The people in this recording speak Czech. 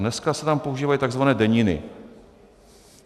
Dneska se tam používají tzv. deniny.